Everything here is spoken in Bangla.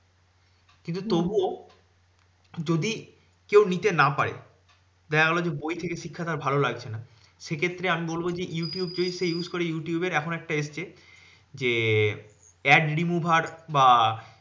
কিন্তু হম তবুও যদি কেউ নিতে না পারে, দেখা গেলো যে বই থেকে শিক্ষা তার ভালো লাগছে না। সেক্ষেত্রে আমি বলবো যে, Youtube যদি সে use করে youtube এখন একটা এসেছে যে ad remover বা